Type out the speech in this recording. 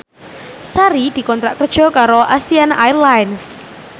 Sari dikontrak kerja karo Asiana Airlines